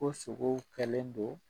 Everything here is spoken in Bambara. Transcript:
Ko sogow kɛlen don